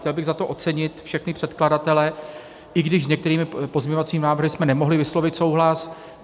Chtěl bych za to ocenit všechny předkladatele, i když s některými pozměňovacími návrhy jsme nemohli vyslovit souhlas.